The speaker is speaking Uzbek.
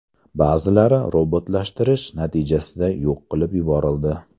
Ba’zilari robotlashtirish natijasida yo‘q qilib yuborildi.